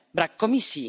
Brak Komisji.